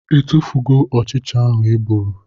I tufugo ụchịcha ahụ I gburu?